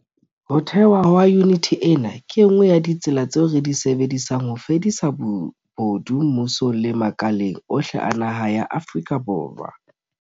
Ho thehwa ha yuniti ena ke e nngwe ya ditsela tseo re di sebedisang ho fedisa bobodu mmusong le makaleng ohle a naha ya Afrika Borwa.